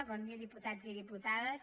bon dia diputats i diputades